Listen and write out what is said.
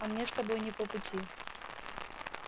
а мне с тобой не по пути